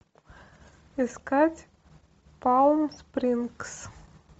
искать палм спрингс